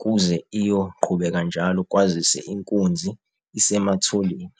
kuze iyoqhubeka njalo kwazise inkunzi isematholen.